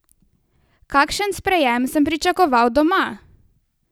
Kakšen sprejem sem pričakoval doma?